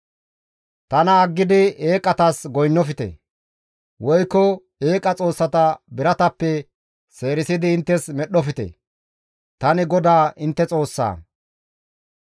« ‹Tana aggidi eeqatas goynnofte; woykko eeqa Xoossata biratappe seerisidi inttes medhdhofte; tani GODAA intte Xoossaa.